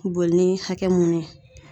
Boli ni hakɛ mun ye